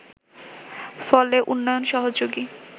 ফলে উন্নয়ন সহযোগী